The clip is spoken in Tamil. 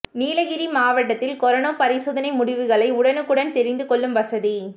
நீலகிரி மாவட்டத்தில் கரோனா பரிசோதனை முடிவுகளை உடனுக்குடன் தெரிந்து கொள்ளும் வசதி